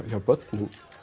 hjá börnum